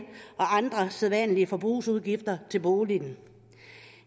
og andre sædvanlige forbrugsudgifter til boligen